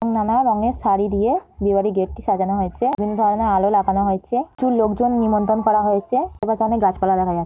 নানা রঙের শাড়ি দিয়ে বিয়ের বাড়ি গেটটি সাজানো হয়েছে। বিভিন্ন ধরণের আলো লাগানো হয়েছে। প্রচুর লোকজন নিমন্ত্রন করা হয়েছে। চারিপাশে অনেক গাছপালা দেখা যা --